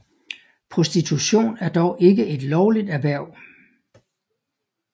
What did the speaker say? Prostitution er dog ikke et lovligt erhverv